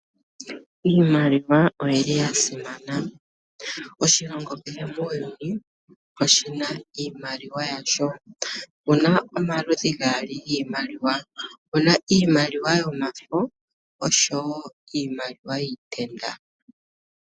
Iimaliwa oyili ya simana. Oshilongo kehe muuyuni oshina iimaliwa yasho. opuna omaludhi gaali giimaliwa. opuna iimaliwa yomafo, osho wo iimaliwa yiitenda.